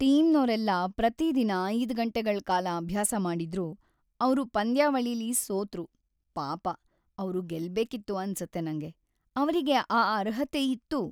ಟೀಮ್ನೋರೆಲ್ಲ ಪ್ರತಿದಿನ ೫ ಗಂಟೆಗಳ್ ಕಾಲ ಅಭ್ಯಾಸ ಮಾಡಿದ್ರೂ ಅವ್ರು ಪಂದ್ಯಾವಳಿಲಿ ಸೋತ್ರು. ಪಾಪ ಅವ್ರು ಗೆಲ್ಬೇಕಿತ್ತು ಅನ್ಸತ್ತೆ ನಂಗೆ. ಅವ್ರಿಗೆ ಆ ಅರ್ಹತೆ ಇತ್ತು.